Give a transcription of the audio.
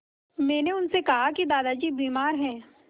मैंने उनसे कहा कि दादाजी बीमार हैं